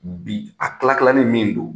Bi a kilalannen min don